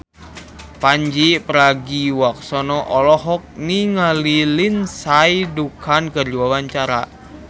Pandji Pragiwaksono olohok ningali Lindsay Ducan keur diwawancara